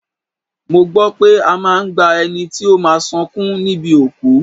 Mo gbọ́ pé a máa ń gba ẹni tí ó máa sọkún níbi òkú